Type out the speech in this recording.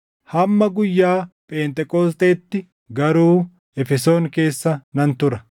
Hamma guyyaa Pheenxeqoosxeetti garuu Efesoon keessa nan tura.